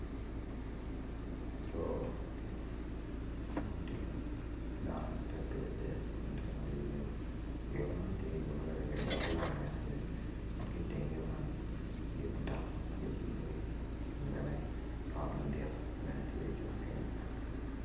Laco ma otingo dano ite pikipiki kun tye ka ngwec iyo yo man tye yo ma kiliyo odok lam manyen kun ki iteng yo man tye mutoka ma kicibo iye kun bene ot madit ben tye ocung kenyo.